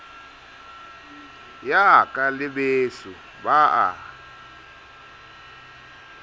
yaka le beso ba a